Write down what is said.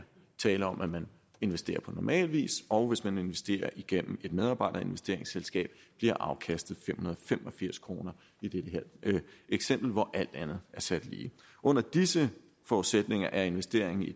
tale om at man investerer på normal vis og man investerer igennem et medarbejderinvesteringsselskab bliver afkastet fem hundrede og fem og firs kroner i dette her eksempel hvor alt andet er sat lige under disse forudsætninger er investeringen i